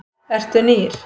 Eru nýr?